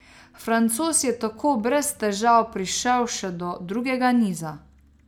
Francoz je tako brez težav prišel še do drugega niza.